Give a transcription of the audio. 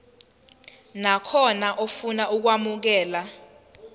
nakhona ofuna ukwamukelwa